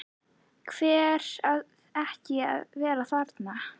Hver á ekki að vera þarna?